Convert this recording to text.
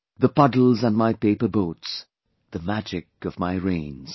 The puddles & my paper boats, the magic of my rains